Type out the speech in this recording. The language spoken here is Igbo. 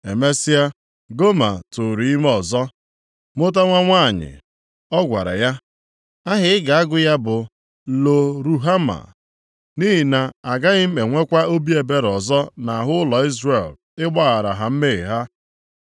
Emesịa, Goma tụụrụ ime ọzọ, mụta nwa nwanyị. Ọ gwara ya, “Aha ị ga-agụ ya bụ Lo-Ruhama, + 1:6 Nke a pụtara onye a na-ahụghị nʼanya maọbụ, obi ebere adịghịkwa nʼihi na agaghị m enwekwa obi ebere ọzọ nʼahụ ụlọ Izrel, ịgbaghara ha mmehie ha.